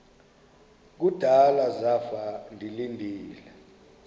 kudala zafa ndilinde